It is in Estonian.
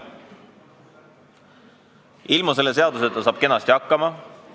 Ilma selle seaduseta saab kenasti hakkama.